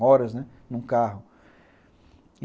Horas, né, num carro.